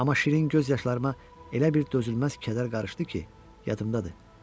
Amma şirin göz yaşlarıma elə bir dözülməz kədər qarışdı ki, yadımdadır.